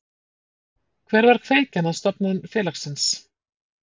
Hver var kveikjan að stofnun félagsins?